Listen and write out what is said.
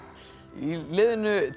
í liðinu